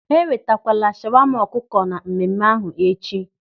Ha enwetakwala shawama ọkụkọ na mmemme ahụ echi.